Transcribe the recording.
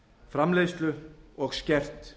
framleiðslu og skert